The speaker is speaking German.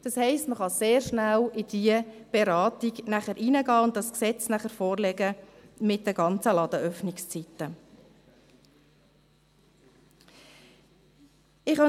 Das heisst, man wird sehr schnell in diese Beratung einsteigen und das Gesetz mit den ganzen Ladenöffnungszeiten vorlegen können.